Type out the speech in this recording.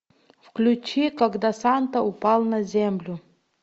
включи когда санта упал на землю